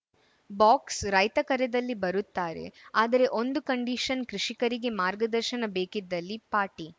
box ರೈತ ಕರೆದಲ್ಲಿ ಬರುತ್ತಾರೆ ಆದರೆ ಒಂದು ಕಂಡೀಷನ್‌ ಕೃಷಿಕರಿಗೆ ಮಾರ್ಗದರ್ಶನ ಬೇಕಿದ್ದಲ್ಲಿ ಪಾಟೀ